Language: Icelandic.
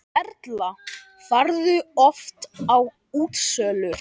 Erla: Ferðu oft á útsölur?